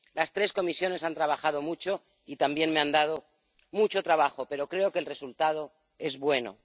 Las tres comisiones han trabajado mucho y también me han dado mucho trabajo, pero creo que el resultado es bueno.